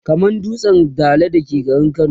kamar dutsen Dala da ke garin kano